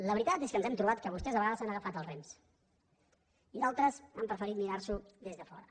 la veritat és que ens hem trobat que vostès a vegades han agafat els rems i d’altres han preferit mirar s’ho des de fora